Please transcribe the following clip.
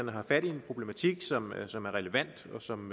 har fat i en problematik som er som er relevant og som